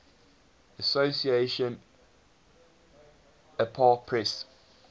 association apa press